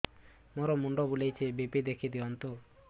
ମୋର ମୁଣ୍ଡ ବୁଲେଛି ବି.ପି ଦେଖି ଦିଅନ୍ତୁ